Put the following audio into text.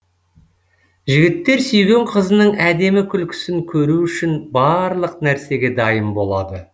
жігіттер сүйген қызының әдемі күлкісін көру үшін барлық нәрсеге дайын болады